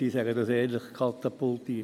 Ich sage dies ehrlich: katapultiert.